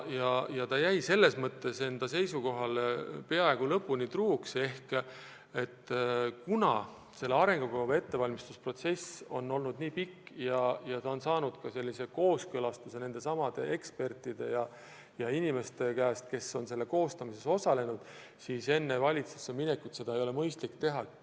Ja ta jäigi enda seisukohale peaaegu lõpuni truuks, öeldes, et kuna selle arengukava ettevalmistamise protsess on olnud nii pikk ja ta on saanud kooskõlastuse nendesamade ekspertide käest, kes on selle koostamises osalenud, siis enne valitsusse minekut ei ole mõistlik muudatusi teha.